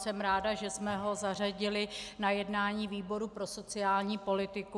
Jsem ráda, že jsme ho zařadili na jednání výboru pro sociální politiku.